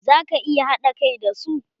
Za ka iya haɗa kai da su?